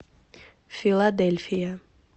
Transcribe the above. филадельфия